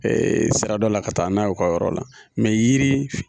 sira dɔ la ka taa n'u y'u ka yɔrɔ la yiri.